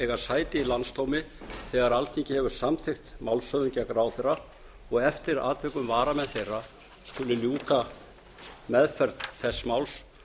eiga sæti í landsdómi þegar alþingi hefur samþykkt málshöfðun gegn ráðherra og eftir atvikum varamenn þeirra skuli ljúka meðferð þess máls